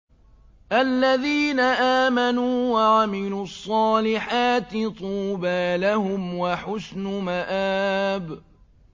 الَّذِينَ آمَنُوا وَعَمِلُوا الصَّالِحَاتِ طُوبَىٰ لَهُمْ وَحُسْنُ مَآبٍ